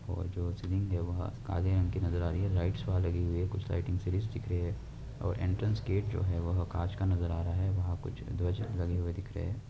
और जो सीलिंग नाजार आरही है लाईटस् बाहा लागे हुए है कुछ लाईटींग सीरीज दिख रहे है। और एनट्रान्स गेट जो है वह कांच का नजर आरहा है वहां कुछ दो चीज लागेहुए दिखरहे है।